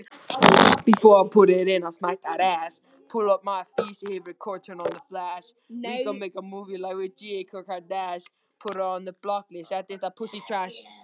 Við gætum ekki án þess verið